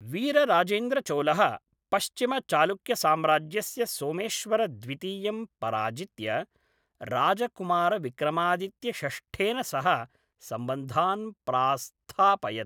वीरराजेन्द्रचोलः पश्चिमचालुक्यसाम्राज्यस्य सोमेश्वरद्वितीयं पराजित्य राजकुमारविक्रमादित्यषष्ठेन सह सम्बन्धान् प्रास्थापयत्।